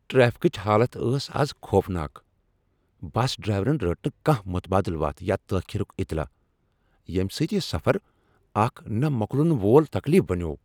ٹریفکٕچ حالت ٲس از خوف ناک۔ بس ڈرایورن رٔٹ نہٕ کانٛہہ متبٲدل وتھ یا تٲخیٖرُك اطلاع، ییٚمہ سۭتۍ یہ سفر اکھ نہ مۄکلن وول تکلیٖف بنیوو۔